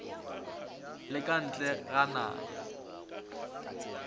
le ka ntle ga naga